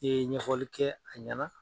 E ye ɲɛfɔli kɛ a ɲɛna.